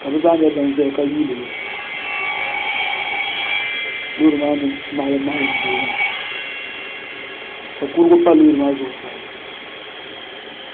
ka bi zaa nyɛ ban ʒɛya ka yuundi li loori maa ni maɣalim maɣalim doya maa ka kurigu pa loori maa zuɣu sa